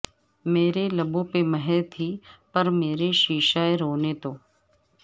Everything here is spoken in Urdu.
میرے لبوں پہ مہر تھی پر میرے شیشہ رو نے تو